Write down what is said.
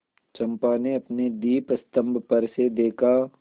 चंपा ने अपने दीपस्तंभ पर से देखा